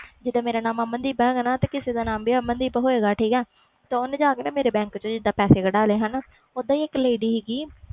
ਜੀਦਾ ਮੇਰਾ ਨਾਮ ਅਮਨਦੀਪ ਕਿਸੇ ਹੋਰ ਦਾ ਨਾਮ ਅਮਨਦੀਪ ਹੋਏ ਗਾ ਤਾ ਓਹਨੇ ਜਾ ਕੇ ਮੇਰੇ ਬੈਂਕ ਵਿੱਚੋ ਪੈਸੇ ਕਢਵਾਲੇ ਇਕ lady